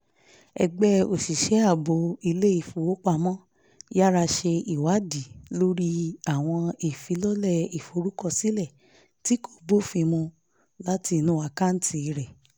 ẹgbẹ́ òṣìṣẹ́ ààbò ilé ìfowópamọ́ yára ṣe ìwádìí lórí àwọn ìfilọ́lẹ̀ ìforúkọsílẹ̀ tí kò bófin mu láti inú àkáǹtì rẹ̀